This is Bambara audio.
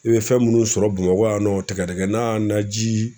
I be fɛn minnu sɔrɔ Bamakɔ yan nɔ tɛgɛdɛgɛna naji